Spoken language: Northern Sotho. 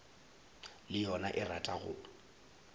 le yona e rata go